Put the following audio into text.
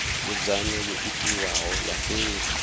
nzudzanyo yo itiwaho ya fhethu